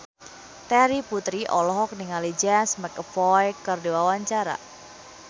Terry Putri olohok ningali James McAvoy keur diwawancara